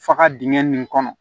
Faga dingɛ nin kɔnɔ